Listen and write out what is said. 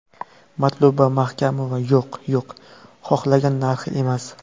Matluba Mahkamova: Yo‘q, yo‘q, xohlagan narxi emas.